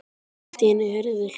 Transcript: Allt í einu heyrðum við hljóð.